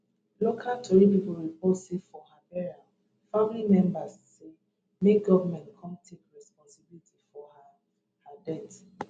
local tori pipo report say for her burial family members say make goment come take responsibility for her death